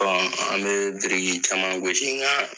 Bɔn an be biriki caman gosi nga